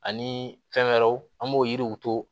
Ani fɛn wɛrɛw an b'o yiriw to